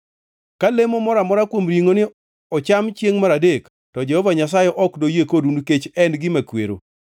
Ka lemo moro amora kuom ringʼoni ocham chiengʼ mar adek, to Jehova Nyasaye ok noyie kodu nikech en gima kwero.